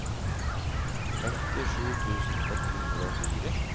femtisju tusen ett hundre og fire